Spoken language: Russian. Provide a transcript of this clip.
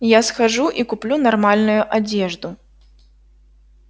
я схожу и куплю нормальную одежду